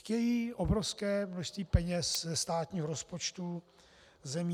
Chtějí obrovské množství peněz ze státního rozpočtu zemí.